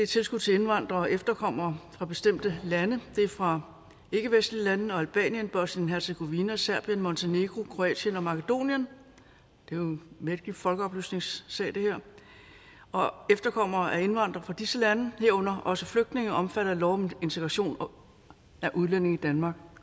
tilskud til indvandrere og efterkommere fra bestemte lande det er fra ikkevestlige lande og albanien bosnien hercegovina serbien montenegro kroatien og makedonien det er jo en mægtig folkeoplysningssag det her og efterkommere af indvandrere fra disse lande herunder også flygtninge omfattet af lov om integration af udlændinge i danmark